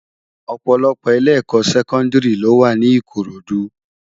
Òpòlòpò ilé èkò sèkòdìrí ló wá ni Ikorodu